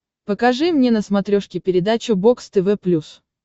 покажи мне на смотрешке передачу бокс тв плюс